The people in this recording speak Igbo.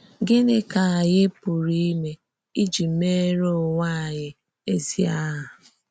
Gịnị ka ànyí̀ pùrụ̀ ímé íjì mèèrè onwé ànyí̀ èzí àhà?